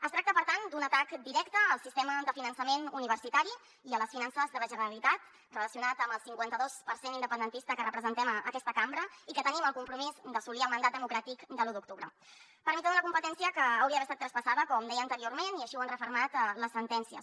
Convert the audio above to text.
es tracta per tant d’un atac directe al sistema de finançament universitari i a les finances de la generalitat relacionat amb el cinquanta·dos per cent independentista que representem aquesta cambra i que tenim el compromís d’assolir el mandat de·mocràtic de l’u d’octubre per mitjà d’una competència que hauria d’haver estat tras·passada com deia anteriorment i així ho han refermat les sentències